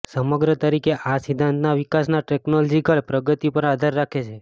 સમગ્ર તરીકે આ સિદ્ધાંતના વિકાસના ટેકનોલોજીકલ પ્રગતિ પર આધાર રાખે છે